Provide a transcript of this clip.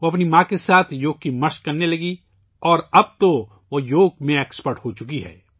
اس نے اپنی والدہ کے ساتھ یوگا کی مشق شروع کی اور اب وہ یوگا کی ماہر بن چکی ہیں